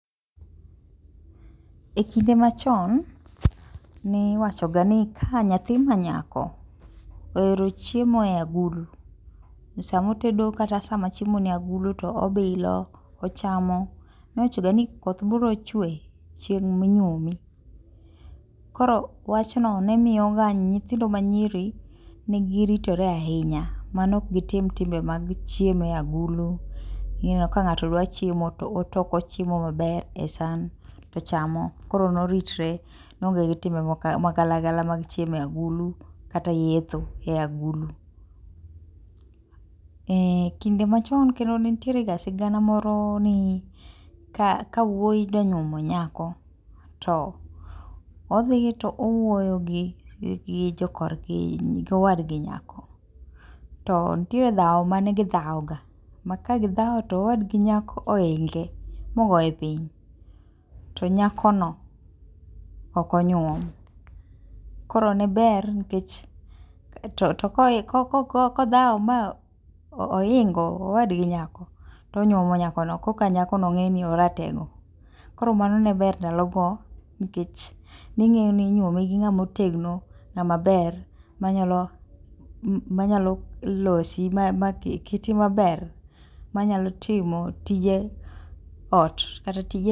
Ekinde machon ne iwachoga ni ka nyathi manyako ohero chiemo e agulu esama otedo kata sama chiemo ni agulu obilo ochamo. Iwachoga ni koth biro chue chieng' minyuomi. Koro wachno ne miyoga nyithindo manyiri ne giritore ahinya mane ok gi tim timbe mag chiemo e agulu omiyo ka ng'ato dwa chiemo to otoko chiemo maber e san to ochamo koro no ritre no onge gi timbe magalagala mag chiemo e agulu kata yetho e agulu. Ee kinde machon kendo ne nitierega sigana moro ni ka wuoyi dwa nyuomo nyako to odhi to owuoyo gi jokorgi gowadgi nyako to nitie dhawo ,mane gi dhawoga ma kagidhawo to owadgi nyako ohinge mogoye piny to nyakono ok onyuom. Koro ne ber nikech to to koko kodhawo ma oingo owadgi nyako to onyuomo nyakono koka nyako ng'eni oratego koro mano ne ber ndalogo nikech ni ng'eni inyuomi gi ng'ama otegno, ng'ama ber manyalo manyalo losi maketi maber manyalo timo tije oot kata tije.